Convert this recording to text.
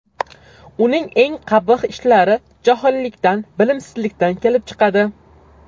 Uning eng qabih ishlari johillikdan, bilimsizlikdan kelib chiqadi.